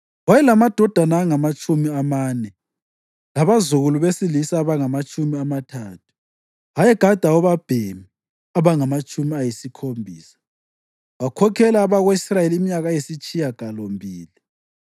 Wayelamadodana angamatshumi amane labazukulu besilisa abangamatshumi amathathu, ayegada obabhemi abangamatshumi ayisikhombisa. Wakhokhela abako-Israyeli iminyaka eyisitshiyagalombili.